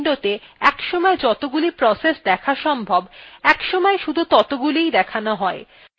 আমরা আগেও দেখেছি যে more বাবহার করলে একটি windowতে একসময় যতগুলি processes দেখা সম্ভব একসময় শুধু ততগুলিই দেখানো হয়